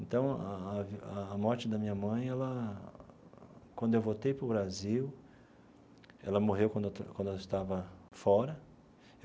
Então, a a a morte da minha mãe ela, quando eu voltei para o Brasil, ela morreu quando eu quando eu estava fora.